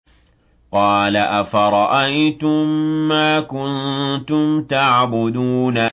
قَالَ أَفَرَأَيْتُم مَّا كُنتُمْ تَعْبُدُونَ